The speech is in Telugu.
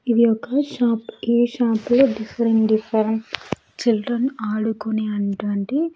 ఇది ఒక షాప్ ఈ షాప్ లో డిఫరెంట్ డిఫరెంట్ చిల్డ్రన్ ఆడుకునే అంటువంటి.